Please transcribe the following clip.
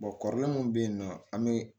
kɔrɔlen min be yen nɔ an be